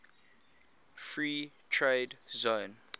free trade zone